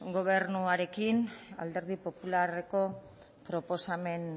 gobernuarekin alderdi popularreko proposamenaren